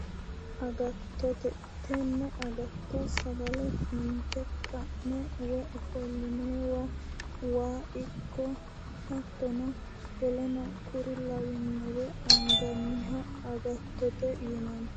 Agattote, tenne agatto sagale inte ka'ne woyi ofollinoyiwa waa ikko hattono woleno kuri lawinore anganniha agattote yinnanni